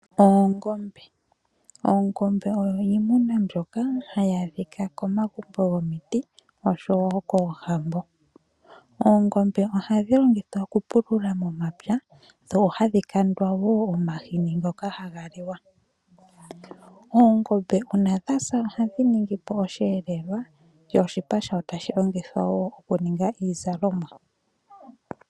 Oongombe, oongombe odho iimuna mbyoka ha ya adhika komagumbo gomiti osho woo koohambo. Oongombe oha dhi longithwa oku pulula momapya dho hadhi kandwa woo omahini ngoka ha ga liwa. Oongombe uuna dha sa oha dhi ningi po oshiyelelwa, yo oshipa shayo tashi longithwa woo oku ninga iizalomwa.